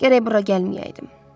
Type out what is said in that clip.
Gərək bura gəlməyəydim.